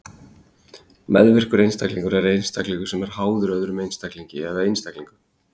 meðvirkur einstaklingur er einstaklingur sem er „háður“ öðrum einstaklingi eða einstaklingum